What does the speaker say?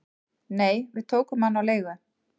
"""Nei, við tókum hann á leigu"""